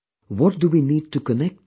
What do we need to connect to